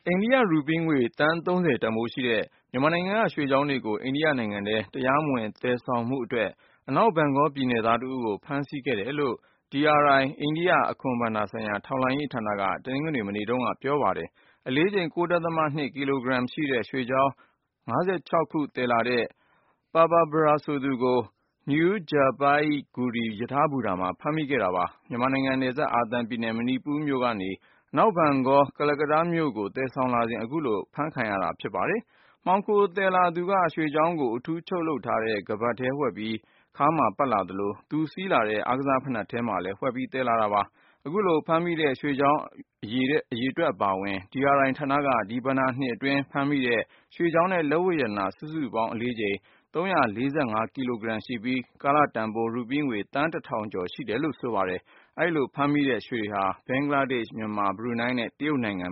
ိန္ဒိယ ရူပီးငွေ သန်း(၃၀)တန်ဖိုးရှိတဲ့ မြန်မာနိုင်ငံက ရွှေချောင်းတွေကို အိန္ဒိယနိုင်ငံထဲ တရားမဝင် သယ်ဆောင်မှုအတွက် အနောက်ဘန်ဂေါ ပြည်နယ်သား တဦးကို ဖမ်းဆီးခဲ့တယ်လို့ DRI အိန္ဒိယ အခွန်ဘဏ္ဍာဆိုင်ရာ ထောက်လှမ်းရေးဌာနက တနင်္ဂနွေ မနေ့တုန်းက ပြောပါတယ်။ အလေးချိန် ၉.၂ ကီလိုဂရမ်ရှိတဲ့ ရွှေချောင်း ၅၆ ခုသယ်လာတဲ့ Purba Para ဆိုသူကို New Jalpaiguri နယူး-ဂျာပိုင်းအိဂူရီ ရထားဘူတာမှာ ဖမ်းမိခဲ့တာပါ။ မြန်မာနိုင်ငံနယ်စပ် မဏိပူရပြည်နယ် ကနေ အနောက်ဘန်ဂေါပြည်နယ် Kolkata မြို့ကို သယ်ဆောင်လာစဉ် အခုလို အဖမ်းခံရတာ ဖြစ်ပါတယ်။ မှောင်ခိုသယ်လာသူက ရွှေချောင်းကို အထူးချုပ်လုပ်ထားတဲ့ ခါးပတ်ထဲဝှက်ပြီး ခါးမှာပတ်လာသလို၊ သူစီးလာတဲ့ အားကစားဖိနပ်ထဲမှာလည်း ဝှက်ပြီး သယ်လာတာ ဖြစ်ပါတယ်။ အခုလို ဖမ်းမိတဲ့ ရွှေချောင်းတွေအပါဝင် DRI ဌာနက ဒီဘဏ္ဍာနှစ်အတွင်းဖမ်းမိတဲ့ ရွှေချောင်းနဲ့ လက်ဝတ် ပစ္စည်း စုစုပေါင်းအလေးချိန် (၃၄၅)ကီလိုဂရမ်ရှိပြီး၊ ကာလတန်ဖိုး ရူးပီငွေ သန်း(၁)ထောင်ကျော် ရှိတယ်လို့ဆိုပါတယ်။ အဲဒီလိုဖမ်းမိတဲ့ ရွှေတွေဟာ ဘင်္ဂလားဒေ့ရှ်၊ မြန်မာ၊ ဘရူနိုင်းနဲ့ တရုတ်နိုင်ငံ